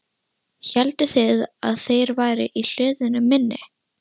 Hélduð þið að þeir væru í hlöðunni minni?